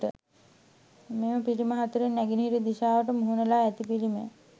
මෙම පිළිම 4 න් නැගෙනහිර දිශාවට මුහුණ ලා ඇති පිළිමය